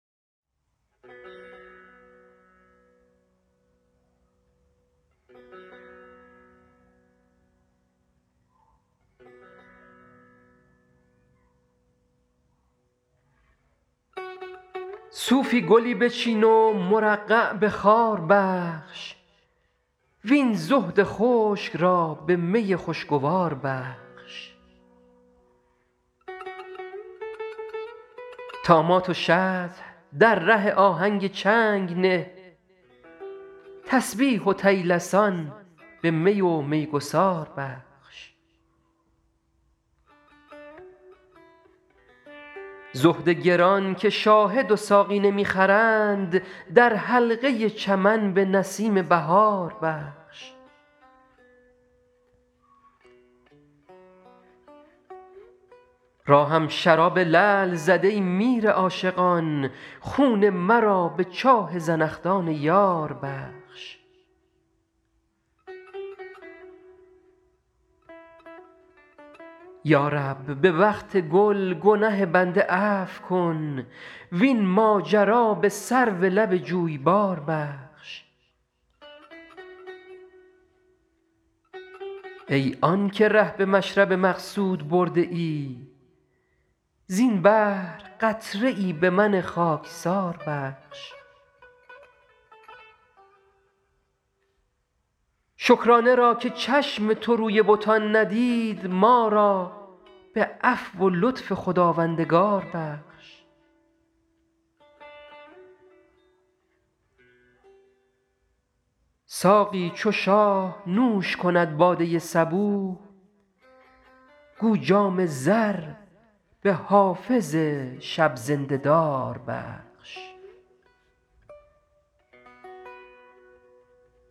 صوفی گلی بچین و مرقع به خار بخش وین زهد خشک را به می خوشگوار بخش طامات و شطح در ره آهنگ چنگ نه تسبیح و طیلسان به می و میگسار بخش زهد گران که شاهد و ساقی نمی خرند در حلقه چمن به نسیم بهار بخش راهم شراب لعل زد ای میر عاشقان خون مرا به چاه زنخدان یار بخش یا رب به وقت گل گنه بنده عفو کن وین ماجرا به سرو لب جویبار بخش ای آن که ره به مشرب مقصود برده ای زین بحر قطره ای به من خاکسار بخش شکرانه را که چشم تو روی بتان ندید ما را به عفو و لطف خداوندگار بخش ساقی چو شاه نوش کند باده صبوح گو جام زر به حافظ شب زنده دار بخش